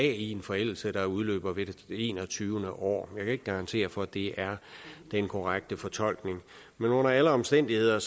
en forældelse der udløber ved det enogtyvende år jeg kan ikke garantere for at det er den korrekte fortolkning men under alle omstændigheder